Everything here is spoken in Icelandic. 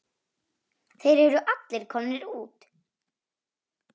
Þeir eru allir komnir út.